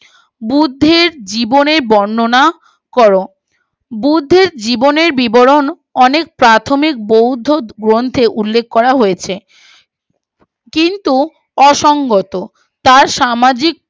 বুর্দ্ধির জীবনের বন্ননা করো বুর্দ্ধির জীবনের বিবরণ অনেক প্রাথমিক বৌদ্ধ গ্রন্থে উল্লেখ করা হয়েছে কিন্তু অসঙ্গত তার সামাজিক